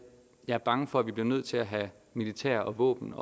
er bange for at vi bliver nødt til at have militær og våben